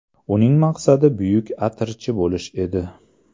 Uning maqsadi buyuk atirchi bo‘lish edi.